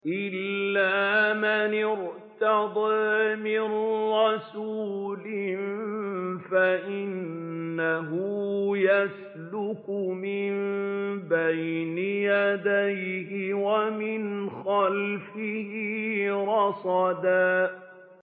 إِلَّا مَنِ ارْتَضَىٰ مِن رَّسُولٍ فَإِنَّهُ يَسْلُكُ مِن بَيْنِ يَدَيْهِ وَمِنْ خَلْفِهِ رَصَدًا